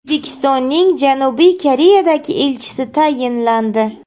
O‘zbekistonning Janubiy Koreyadagi elchisi tayinlandi.